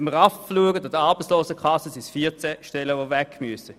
Bei der Arbeitslosenkasse müssten 14 Stellen gestrichen werden.